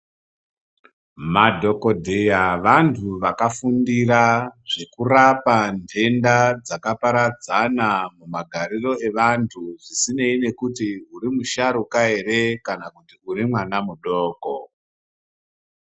Madhokodheya vantu vakafundira zvekurapa nhenda dzakaparadzana magariro evantu zvisinei kuti uri musharuka ere kana uri mwana mudoko.